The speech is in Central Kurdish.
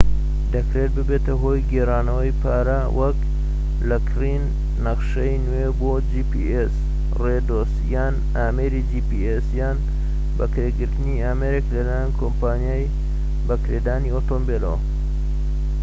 دەکرێت ببێتە هۆی گێڕاندنەوەی پارە وەك لە کڕین نەخشەی نوێ بۆ جی پی ئێس ڕێدۆز، یان ئامێری جی پی ئێس یان بەکرێگرتنی ئامێرێك لەلایەن کۆمپانیای بەکرێدانی ئۆتۆمبیلەوە